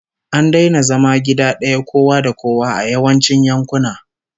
An daina zama gida daya kowa da kowa a yawancin yankuna